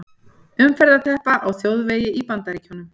Umferðarteppa á þjóðvegi í Bandaríkjunum.